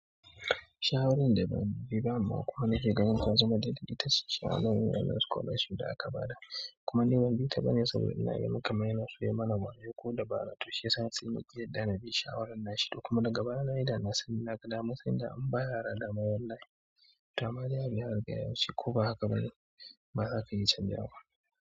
Shawarin da ba ni, ba mako na ke gani za su zama daɗi ita ce shawaran yaren scholarship da aka ba da, kuma neman bi ta ba ne saboda ina ga maka maina su yi mana wayo ko dabarar tusiya, sai naki yadda na bi shawarar na shi da kuma daga baya na yi da na sani na ga damar sanda an ba ya raɗa ma wallahi. Dama dai ya riga ya wuce ko ba haka bane, ba za ka iya canjawaba.